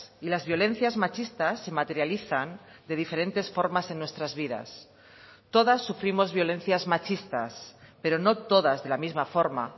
y las violencias machistas se materializan de diferentes formas en nuestras vidas todas sufrimos violencias machistas pero no todas de la misma forma